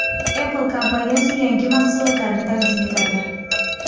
Apple kompaniyasi yangi mahsulotini taqdim etadi.